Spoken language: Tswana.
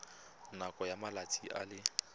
nakong ya malatsi a le